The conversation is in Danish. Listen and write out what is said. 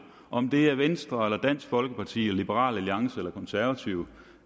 om det er venstre dansk folkeparti liberal alliance eller konservative